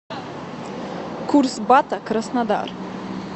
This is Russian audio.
курс бата краснодар